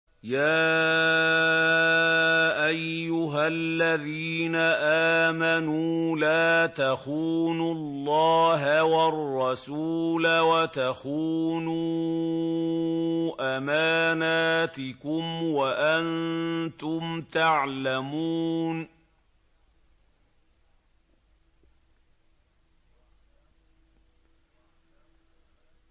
يَا أَيُّهَا الَّذِينَ آمَنُوا لَا تَخُونُوا اللَّهَ وَالرَّسُولَ وَتَخُونُوا أَمَانَاتِكُمْ وَأَنتُمْ تَعْلَمُونَ